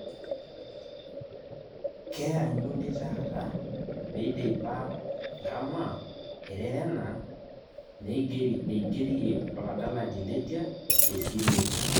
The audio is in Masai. Kianyuni taata meidipa Nkama ererena neigerie oladalani Letia tesile